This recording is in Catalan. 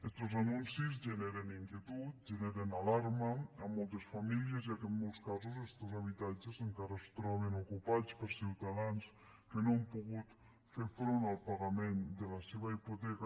estos anuncis generen inquietud generen alarma a moltes famílies ja que en molts casos estos habitatges encara es troben ocupats per ciutadans que no han pogut fer front al pagament de la seva hipoteca